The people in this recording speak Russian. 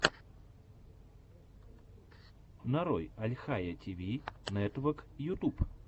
нарой альхайя ти ви нетвок ютуб